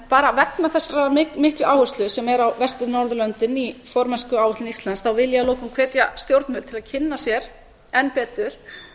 bara vegna þessarar miklu áherslu sem er á vestur norðurlöndin í formennskuáætlun íslands vil ég að lokum hvetja stjórnvöld til að kynna sér enn betur